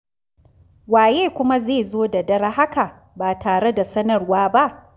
Waye kuma zai zo da dare haka ba tare da sanarwa ba?